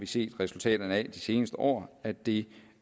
set af resultaterne de seneste år at det